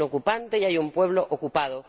Hay un ocupante y hay un pueblo ocupado.